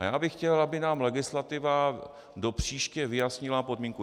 A já bych chtěl, aby nám legislativa do příště vyjasnila podmínku.